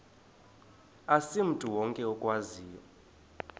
asimntu wonke okwaziyo